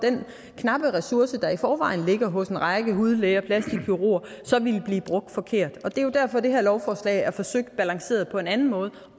knappe ressourcer der i forvejen ligger hos en række hudlæger og plastikkirurger så ville blive brugt forkert det er jo derfor det her lovforslag er forsøgt balanceret på en anden måde